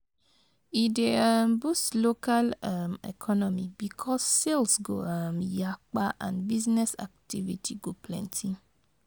E dey um boost local um economy bikos sales go um yakpa and business activity go plenti